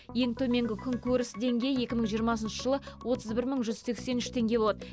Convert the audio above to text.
ең төменгі күнкөріс деңгейі екі мың жиырмасыншы жылы отыз бір мың жүз сексен үш теңге болады